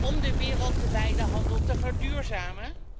om de wereldwijde handel te verduurzamen.